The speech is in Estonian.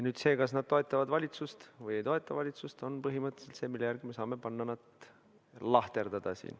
Nüüd see, kas nad toetavad valitsust või ei toeta valitsust, ongi põhimõtteliselt see, mille järgi me saame neid siin lahterdada.